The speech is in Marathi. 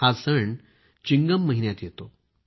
हा सण चिणगम महिन्यात येतो